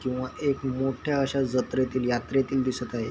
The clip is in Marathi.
किंवा एक मोठ्या अश्या जात्रेतील यात्रेतील दिसत आहेत.